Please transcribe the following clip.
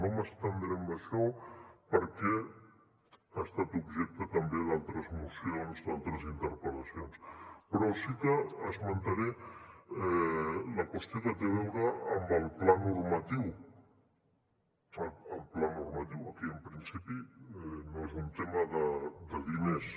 no m’estendré amb això perquè ha estat objecte també d’altres mocions d’altres interpel·lacions però sí que esmentaré la qüestió que té a veure amb el pla normatiu el pla normatiu aquí en principi no és un tema de diners